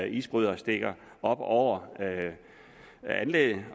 isbrydere stikker op over anlægget